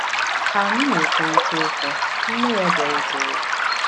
Ka anyị na-ekwurịta okwu, nne ya bịarutere.